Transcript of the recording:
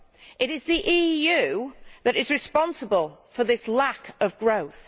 It is the EU that is responsible for this lack of growth.